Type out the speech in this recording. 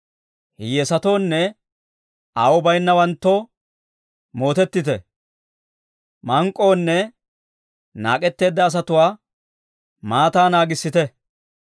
Hiyyeesatoonne aawuu bayinnawanttoo mootettite; mank'k'onne naak'etteedda asatuwaa maataa naagissite.